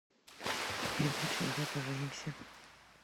передача давай поженимся